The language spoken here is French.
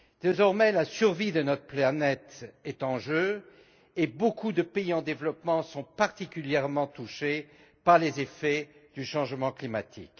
Désormais, la survie de notre planète est en jeu et beaucoup de pays en développement sont particulièrement touchés par les effets du changement climatique.